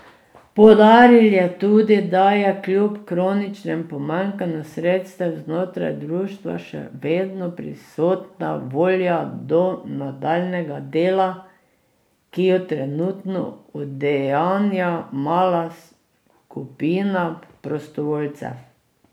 Poudaril je tudi, da je kljub kroničnem pomanjkanju sredstev znotraj društva še vedno prisotna volja do nadaljnjega dela, ki jo trenutno udejanja mala skupina prostovoljcev.